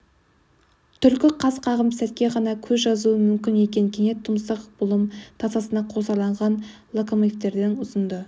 түлкі қас қағым сәтке ғана көз жазуы мүмкін екен кенет тұмсық бұлым тасасына қосарланған локомотивтердің ұзынды